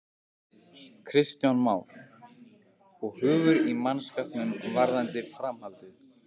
Kristján Már: Og hugur í mannskapnum varðandi framhaldið?